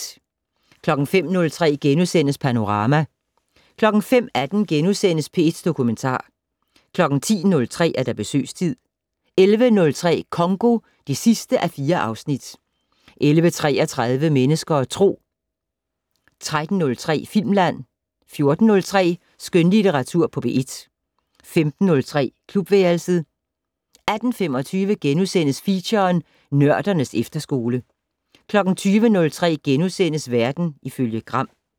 05:03: Panorama * 05:18: P1 Dokumentar * 10:03: Besøgstid 11:03: Congo (4:4) 11:33: Mennesker og Tro 13:03: Filmland 14:03: Skønlitteratur på P1 15:03: Klubværelset 18:25: Feature: Nørdernes efterskole * 20:03: Verden ifølge Gram *